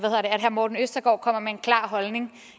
herre morten østergaard kommer med en klar holdning